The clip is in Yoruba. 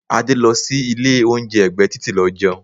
Adé lọ sí ilé oúnjẹ ẹgbẹ́ titi lọ jẹun.